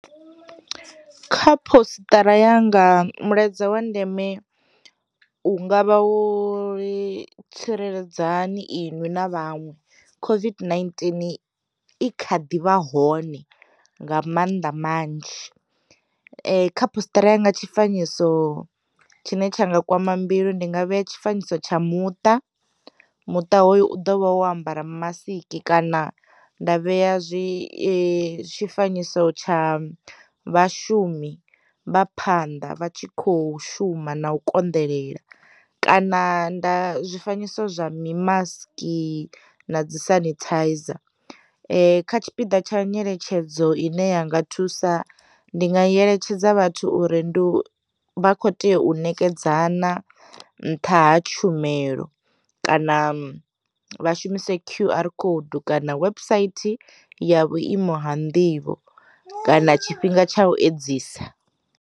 Kha postara ya nga mulaedza wa ndeme u ngavha wo ri tsireledzani iṅwi na vhaṅwe COVID-19 i kha ḓivha hone nga mannḓa manzhi. Kha postara ya nga tshi fanyiso tshine tsha nga kwama mbilu ndi nga vheya tshi fanyiso tsha muṱa muṱa hoyo u ḓovha wo ambara masiki, kana nda vheya zwifanyiso tsha vhashumi vha phanḓa vha tshi kho shuma na u konḓelela, kana nda zwifanyiso zwa mi maski na dzi sanithaiza. Kha tshipiḓa tsha nyeletshedzo ine ya nga thusa, ndi nga eletshedza vhathu uri ndi vha kho tea u nekedza na nṱha ha tshumelo, kana vha shumise Q_R code kana website ya vhuimo ha nḓivho, kana tshifhinga tsha u edzisa.